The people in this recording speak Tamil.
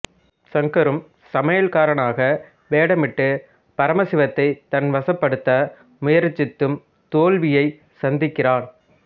ஷங்கரும் சமையல்காரனாக வேடமிட்டு பரமசிவத்தைத் தன் வசப்படுத்த முயற்சித்தும் தோல்வியைச் சந்திக்கிறான்